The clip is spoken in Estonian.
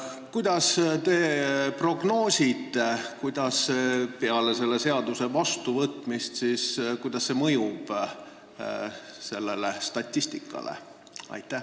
Kuidas te prognoosite, milline on selle seaduse vastuvõtmise mõju sellele statistikale?